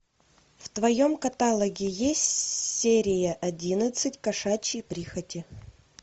в твоем каталоге есть серия одиннадцать кошачьи прихоти